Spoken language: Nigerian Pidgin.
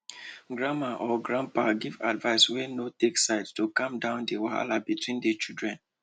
grandma or grandpa give advice wey no take side to calm down di wahala between the children